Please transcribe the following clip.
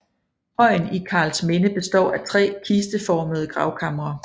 Højen i Karlsminde består af tre kisteformede gravkamre